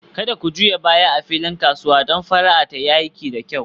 Kada ku juya baya a filin kasuwa don fara'a ta yi aiki da kyau